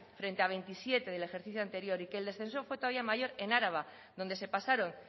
frente a veintisiete del ejercicio anterior y que el descenso fue todavía mayor en araba donde se pasaron